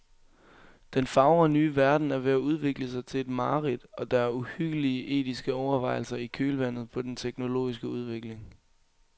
Den fagre nye verden er ved at udvikle sig til et mareridt, og der er uhyggelige etiske overvejelser i kølvandet på den teknologiske udvikling.